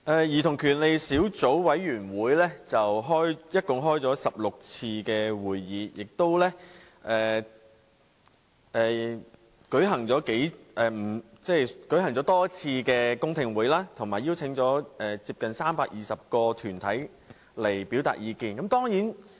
兒童權利小組委員會共進行了16次會議，亦舉行過多次公聽會，以及邀請接近320個團體前來表達意見。